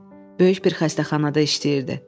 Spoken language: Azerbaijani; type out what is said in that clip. Böyük bir xəstəxanada işləyirdi.